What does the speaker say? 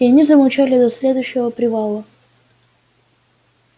и они замолчали до следующего привала